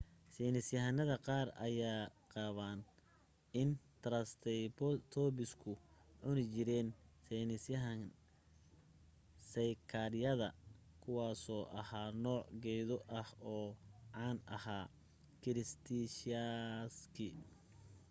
saynisyahanada qaar ayaa qaba in taraysebatoobisku cuni jireen seykaadhyada kuwaasoo ahaa nooc geedo ah oo caan ahaa kiritishiyaaskii